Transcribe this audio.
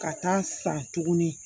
Ka taa san tugunni